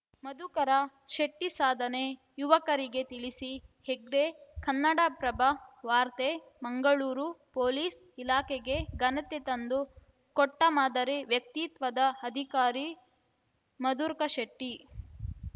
ಮಧುಕರ ಶೆಟ್ಟಿಸಾಧನೆ ಯುವಕರಿಗೆ ತಿಳಿಸಿ ಹೆಗ್ಡೆ ಕನ್ನಡಪ್ರಭ ವಾರ್ತೆ ಮಂಗಳೂರು ಪೊಲೀಸ್‌ ಇಲಾಖೆಗೆ ಘನತೆ ತಂದು ಕೊಟ್ಟಮಾದರಿ ವ್ಯಕ್ತಿತ್ವದ ಅಧಿಕಾರಿ ಮಧುರ್ಕ ಶೆಟ್ಟಿ